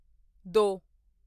ਦੋ